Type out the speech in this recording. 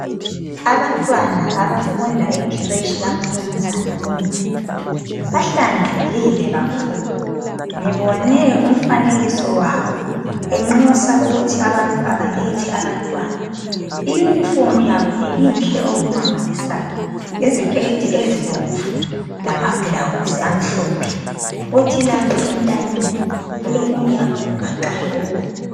abantwana abafunda e creche kaMnumzana u Ndlovu bahlanzekile kakhulu ngibone umfanekiso wabo benxusa ukuthi abantu abalethe abantwana i uniform yabo ibinhle okumangalisayo yiziketi ezibomvu lama blouse amhlophe kuthi lapha entanyeni kulokunye abakugaxayo okubomvu